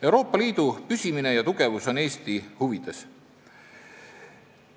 Euroopa Liidu püsimine ja tugevus on Eesti huvides.